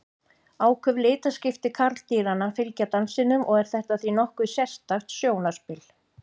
Áköf litaskipti karldýranna fylgja dansinum og er þetta því nokkuð sérstakt sjónarspil.